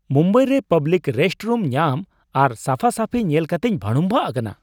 ᱢᱩᱢᱵᱟᱭ ᱨᱮ public restroom ᱧᱟᱢ ᱟᱨ ᱥᱟᱯᱷᱟᱼᱥᱟᱹᱯᱷᱤ ᱧᱮᱞᱠᱟᱛᱮᱧ ᱵᱷᱟᱹᱲᱩᱝᱵᱷᱟᱜ ᱟᱠᱟᱱᱟ ᱾